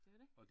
Det var det